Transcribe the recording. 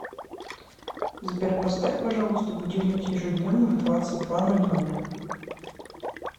сбер поставь пожалуйста будильник ежедневно в двадцать два ноль ноль